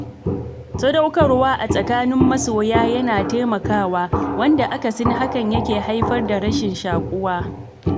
Sadaukarwa a tsakanin masoya na taimakawa, wanda akasin hakan yake haifar da rashin shaƙuwa.